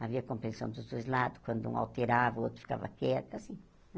Havia compreensão dos dois lados, quando um alterava, o outro ficava quieto, assim.